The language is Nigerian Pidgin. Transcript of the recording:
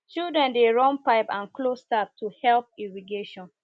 children dey run pipe and close tap to help irrigation